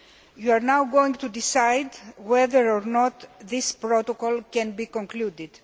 You are now going to decide whether or not this protocol can be concluded.